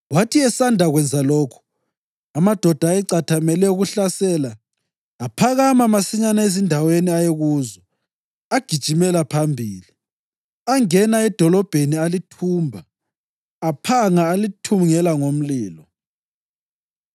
Wathi esanda kwenza lokhu, amadoda ayecathamele ukuhlasela aphakama masinyane ezindaweni ayekuzo agijimela phambili. Angena edolobheni alithumba, aphanga alithungela ngomlilo.